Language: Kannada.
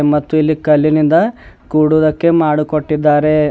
ಮತ್ತು ಇಲ್ಲಿ ಕಲ್ಲಿನಿಂದ ಕೊಡುವುದಕ್ಕೆ ಮಾಡು ಕೊಟ್ಟಿದ್ದಾರೆ.